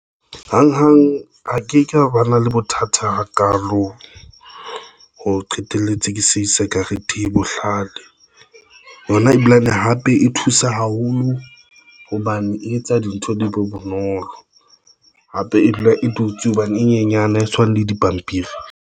Hanghang ha ke ka ba na le bothata hakalo, ho qetelletse ke sa isa karete e bohlale yona ebilane hape e thusa haholo hobane e etsa dintho di be bonolo. Hape e dula e dutse hobane e nyenyane ha e tshwane le dipampiri.